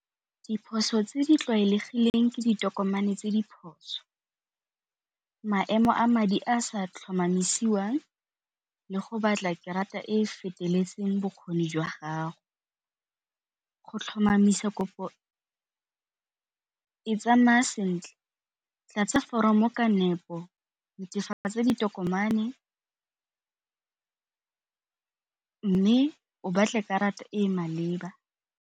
Diphoso tse di tlwaelegileng ke ditokomane tse diphoso, maemo a madi a a sa tlhomamisiwang le go batla e e feteletseng bokgoni jwa gago. Go tlhomamisa kopo e tsamaya sentle tlatsa foromo ka nepo, netefatsa tse ditokomane, mme o batle karata e e maleba.